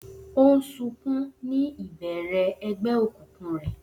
O n sunkun ni ibẹrẹ ẹgbẹ okunkun rẹ.